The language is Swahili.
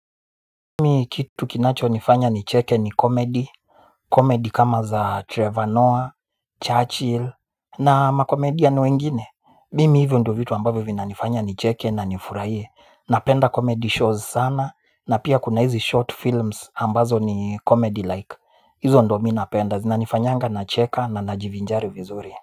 Mimi kitukinacho nifanya nicheke ni komedi, komedi kama za Trevor Noah, Churchill na makomedian ni wengine. Mimi hivyo ndo vitu ambavyo vinanifanya nicheke na nifurahie. Napendacomedy shows sana na pia kuna hizi short films ambazo ni comedy like. Hizo ndo mi napenda zinanifanyanga nacheka na najivinjari vizuri.